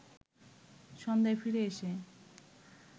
সন্ধ্যায় ফিরে এসে